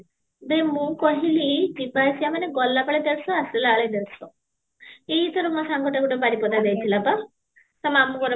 ବେ ମୁଁ କହିଲି ଯିବା ଆସିବା ମାନେ ଗଲା ବେଳେ ଦେଢ଼ଶହ ଆସିଲା ବେଳେ ଦେଢ଼ଶହ ଏଇଥର ମୋ ସଙ୍ଗତେ ବାରିପଦା ଯାଇଥିଲା ପା, ତା ମାମୁଁ ଘର ବା